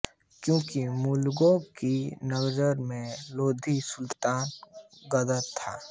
क्योंकि मुग़लों की नज़र में लोदी सुल्तान गद्दार थे